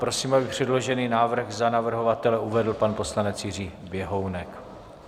Prosím, aby předložený návrh za navrhovatele uvedl pan poslanec Jiří Běhounek.